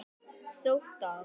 Sótt af